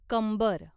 कंबर